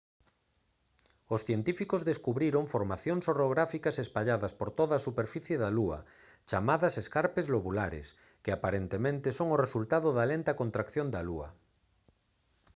os científicos descubriron formacións orográficas espalladas por toda a superficie da lúa chamadas escarpes lobulares que aparentemente son o resultado da lenta contracción da lúa